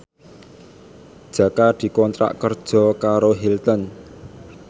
Jaka dikontrak kerja karo Hilton